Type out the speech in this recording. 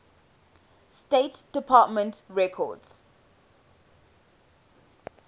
state department records